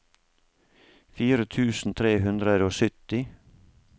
fire tusen tre hundre og sytti